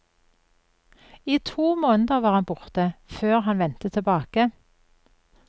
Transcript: I to måneder var han borte, før han vendte tilbake.